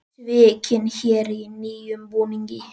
Svikinn héri í nýjum búningi